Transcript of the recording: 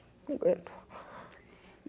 Não aguento.